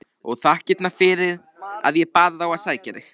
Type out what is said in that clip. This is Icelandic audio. Og þakkirnar fyrir að ég bað þá að sækja þig!